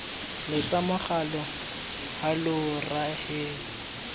letsa mogala hallow rra ehe